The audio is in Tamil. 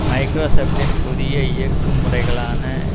மைக்ரோசெப்ட்டின் புதிய இயக்கு முறைகளான